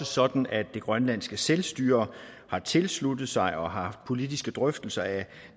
sådan at det grønlandske selvstyre har tilsluttet sig og har haft politiske drøftelser af